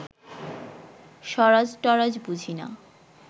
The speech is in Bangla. স্বরাজ-টরাজ বুঝি না